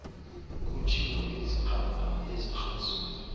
kutshiwo ezikrakra ezikrazula